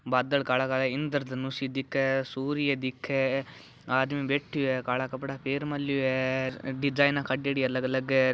बादल काला काला इन्द्र धनुस दिखे सूर्य दिखे आदमी बैठो है काला कपडा पहन मेळो है डिज़ाइन काडेडी अलग अलग --